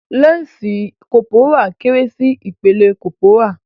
Lansi kọ́pórá kéré sí ìpele kọ́pórà.